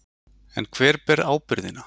En hver ber ábyrgðina?